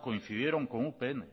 coincidieron con upn